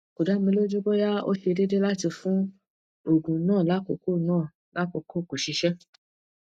ko da mi loju boya o se deede lati fun oogun na lakoko na lakoko ko sise